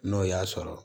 N'o y'a sɔrɔ